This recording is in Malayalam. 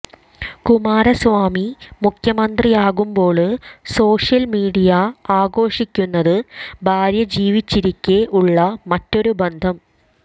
കുമാരസ്വാമി മുഖ്യമന്ത്രിയാകുമ്പോള് സോഷ്യല് മീഡിയആഘോഷിക്കുന്നത് ഭാര്യ ജീവിച്ചിരിക്കേ ഉള്ള മറ്റൊരു ബന്ധം